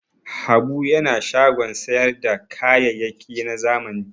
Habu yana shagon sayar da kayayyaki na zamani.